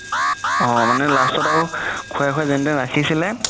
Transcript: অ মানে last ত আৰু খুৱাই খুৱাই যেন তেন ৰাখিছিলে